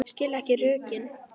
Skil ekki rökin.